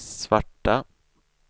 svarta